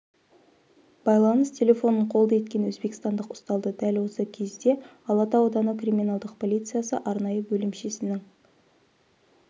байланыс телефонын қолды еткен өзбекстандық ұсталды дәл осы кезде алатау ауданы криминалдық полициясы арнайы бөлімшесінің